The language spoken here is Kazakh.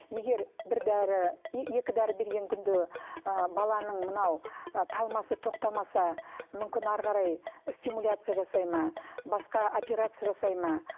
егер бір дәрі екі дәрі берген күнде ы баланың мынау ы талмасы тоқтамаса мүмкін әрі қарай стимуляция жасай ма басқа операция жасай ма